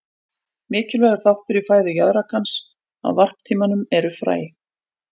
Mikilvægur þáttur í fæðu jaðrakans á varptímanum eru fræ.